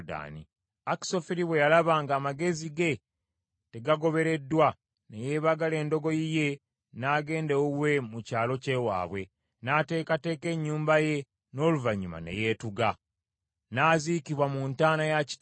Akisoferi bwe yalaba nga amagezi ge tegagobereddwa, ne yeebagala endogoyi ye, n’agenda ewuwe mu kyalo kye waabwe. N’ateekateeka ennyumba ye, n’oluvannyuma ne yeetuga. N’aziikibwa mu ntaana ya kitaawe.